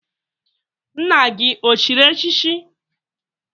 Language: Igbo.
Nna gi o chịrị echichi?